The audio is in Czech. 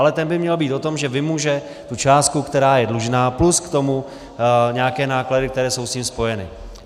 Ale ten by měl být o tom, že vymůže tu částku, která je dlužná, plus k tomu nějaké náklady, které jsou s tím spojeny.